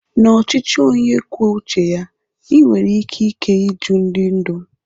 na ochichi onye kwuo uche ya, i nwere ikike ịjụ ndi ndu